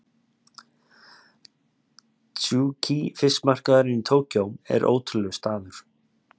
Tsukiji fiskmarkaðurinn í Tókýó er ótrúlegur staður.